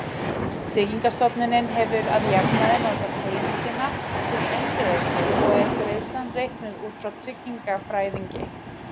Tryggingastofnunin hefur að jafnaði notað heimildina til eingreiðslu og er greiðslan reiknuð út af tryggingafræðingi.